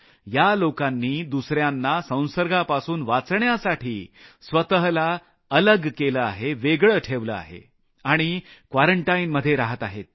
या लोकांनी दुसऱ्यांना संसर्गापासून वाचवण्यासाठी स्वतःला अलग केलं आहे आणि क्वारंटाईनमध्ये रहात आहेत